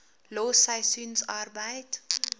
los seisoensarbeid